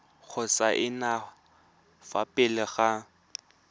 go saenwa fa pele ga